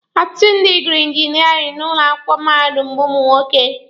Ọtụtụ ndị gụrụ injiniarin n'ụlọ akwụkwọ mahadum bụ ụmụ nwoke.